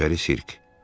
Köçəri Sirk.